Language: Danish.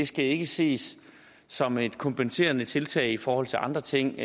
skal ikke ses som et kompenserende tiltag i forhold til andre ting